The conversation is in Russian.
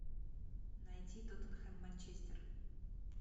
найти тоттенхэм манчестер